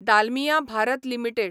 Dalmia Bharat limited